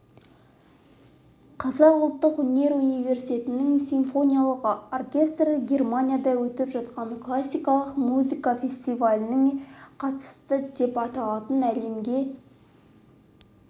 қазақ ұлттық өнер университетінің симфониялық оркестрі германияда өтіп жатқан классикалық музыка фестиваліне қатысты деп аталатын әлемге